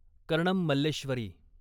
Karnam Malleswari